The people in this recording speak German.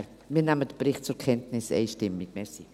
Wir nehmen den Bericht einstimmig zur Kenntnis.